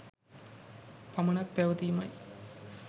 පමණක් පැවතීමයි.